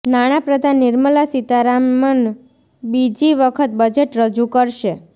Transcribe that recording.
નાણાં પ્રધાન નિર્મલા સીતારામન બીજી વખત બજેટ રજૂ કરશે